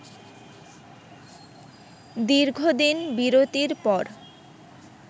দীর্ঘদিন বিরতির পর